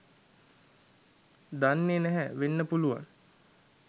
දන්නේ නැහැ වෙන්න පුළුවන්